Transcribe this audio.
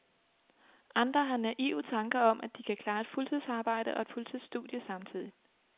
Andre har naive tanker om, at de kan klare et fuldtidsarbejde og et fuldtidsstudie samtidigt.